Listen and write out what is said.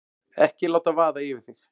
Ekki láta vaða yfir þig.